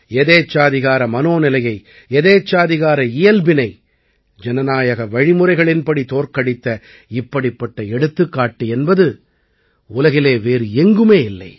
எதேச்சாதிகார மனோநிலையை எதேச்சாதிகார இயல்பினை ஜனநாயக வழிமுறைகளின்படி தோற்கடித்த இப்படிப்பட்ட எடுத்துக்காட்டு என்பது உலகிலே வேறு எங்குமே இல்லை